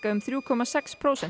um þrjá komma sex prósent